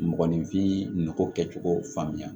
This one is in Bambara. Mɔgɔninfin nako kɛcogo faamuya